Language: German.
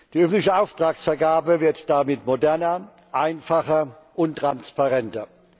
Die öffentliche Auftragsvergabe wird damit moderner, einfacher und transparenter.